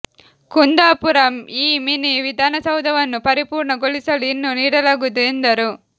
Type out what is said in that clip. ಕುಂದಾಪುರ ಈ ಮಿನಿ ವಿಧಾನಸೌಧವನ್ನು ಪರಿಪೂರ್ಣ ಗೊಳಿಸಲು ಇನ್ನೂ ನೀಡಲಾಗುವುದು ಎಂದರು